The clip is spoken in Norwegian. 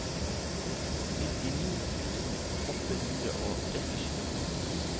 syttini tusen åtte hundre og trettisju